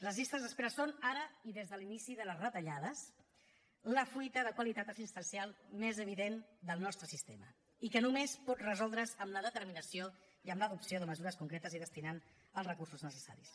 les llistes d’espera són ara i des de l’inici de les retallades la fuita de qualitat assistencial més evident del nostre sistema i que només pot resoldre’s amb la determinació i amb l’adopció de mesures concretes i destinant hi els recursos necessaris